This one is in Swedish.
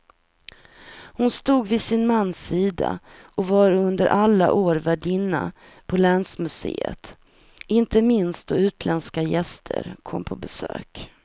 Hon stod vid sin mans sida och var under alla år värdinna på länsmuseet, inte minst då utländska gäster kom på besök.